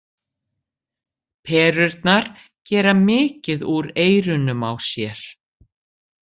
Perurnar gera mikið úr eyrunum á sér.